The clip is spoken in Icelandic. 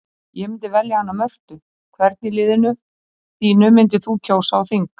Ég myndi velja hana Mörtu Hvern í liðinu þínu myndir þú kjósa á þing?